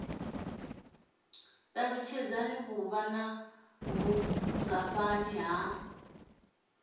ṱalutshedza vhuvha na vhungafhani ha